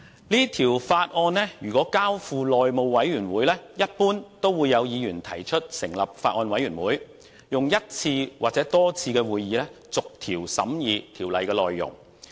如果把這項《條例草案》交付內務委員會，一般會有議員提出成立法案委員會，以一次或多次會議逐條審議《條例草案》內容。